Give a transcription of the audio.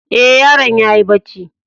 E, yaron ya yi barci.